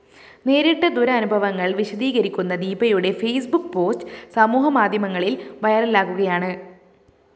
നേരിട്ട ദുരനുഭവങ്ങള്‍ വിശദീകരിക്കുന്ന ദീപയുടെ ഫേസ്ബുക്ക് പോസ്റ്റ്‌ സമൂഹമാധ്യമങ്ങളില്‍ വൈറലാകുകയാണ്